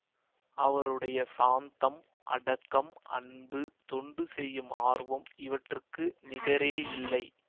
அவருடைய சாந்தம் அடக்கம் அன்பு தொண்டு செய்யும் ஆர்வம் இவற்றுக்கு நிகரேயில்லை